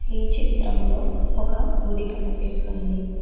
ఈ చిత్రంలో ఒక గుడి కనిపిస్తుంది.